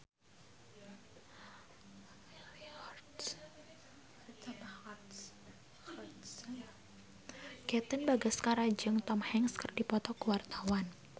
Katon Bagaskara jeung Tom Hanks keur dipoto ku wartawan